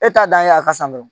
E t'a dan ye a ka san dɔrɔn